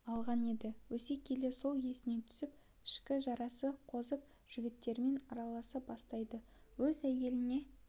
алған енді өсе келе сол есіне түсіп ішкі жарасы қозып жігіттермен араласа бастайды өз әйеліне